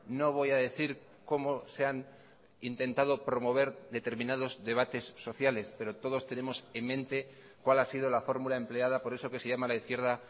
no voy a decir cómo se han intentado promover determinados debates sociales pero todos tenemos en mente cuál ha sido la fórmula empleada por eso que se llama la izquierda